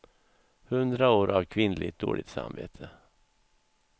Hundra år av kvinnligt dåligt samvete.